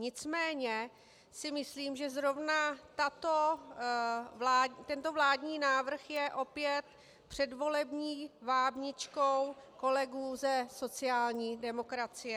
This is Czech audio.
Nicméně si myslím, že zrovna tento vládní návrh je opět předvolební vábničkou kolegů ze sociální demokracie.